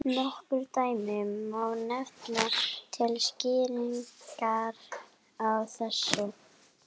Það átti að heita: Blæðandi hjarta.